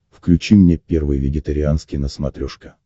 включи мне первый вегетарианский на смотрешке